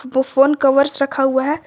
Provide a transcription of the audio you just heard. वो फोन कर्व्स रखा हुआ है।